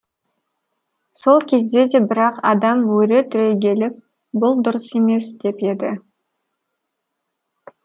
сол кезде де бірақ адам өре түрегеліп бұл дұрыс емес деп еді